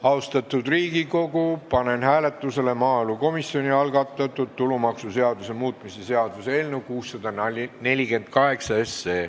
Austatud Riigikogu, panen hääletusele maaelukomisjoni algatatud tulumaksuseaduse muutmise seaduse eelnõu 648.